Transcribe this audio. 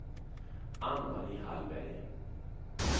Ann-Marie Hallberg